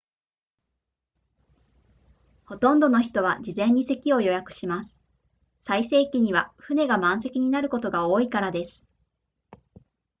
ほとんどの人は事前に席を予約をします最盛期には船が満席になることが多いからです